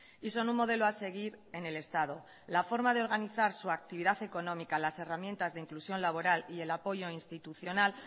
y son un modelo a seguir en el estado la forma de organizar su actividad económica las herramientas de inclusión laboral y el apoyo institucional